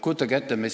Kujutage ette!